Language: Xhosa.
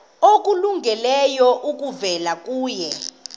okulungileyo kuvela kuye